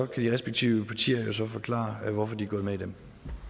til de respektive partier at forklare hvorfor de er gået med i dem